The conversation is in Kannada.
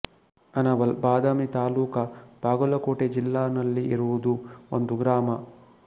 ಅನವಲ್ ಬಾದಾಮಿ ತಾಲೂಕಾ ಬಾಗಲಕೋಟೆ ಜಿಲ್ಲಾ ನಲ್ಲಿ ಇರೋದು ಒಂದು ಗ್ರಾಮ